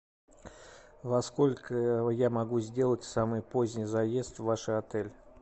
во сколько я могу сделать самый поздний заезд в ваш отель